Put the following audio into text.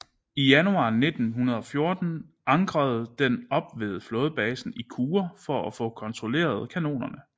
I januar 1914 ankrede den op ved flådebasen i Kure for at få kontrolleret kanonerne